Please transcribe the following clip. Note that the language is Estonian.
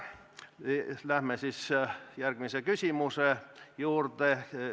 Läheme järgmise küsimuse juurde.